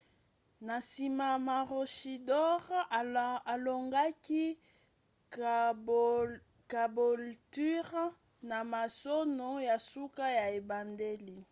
na nsima maroochydore alongaki caboolture na masano ya suka ya ebandeli